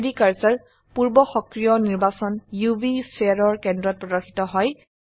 3ডি কাৰ্সাৰ পূৰ্ব সক্ৰিয় নিৰ্বাচন উভ স্ফিয়াৰ এৰ কেন্দ্ৰত প্ৰদৰ্শিত হয়